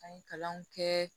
An ye kalanw kɛ